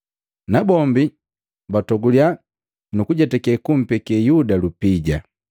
Nabombi batogulya nuku jetakake kumpeke Yuda lupija.